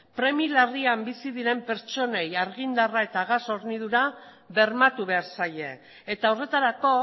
premia larrian bizi diren pertsonei argindarra eta gas hornidura bermatu behar zaie eta horretarako